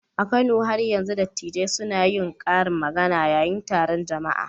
A Kano, har yanzu dattijai suna yin karin magana yayin taron jama'a